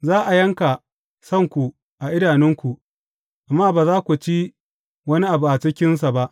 Za a yanka sanku a idanunku, amma ba za ko ci wani abu a cikinsa ba.